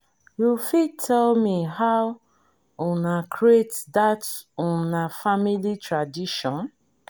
you fit tell me how una create that una family tradition?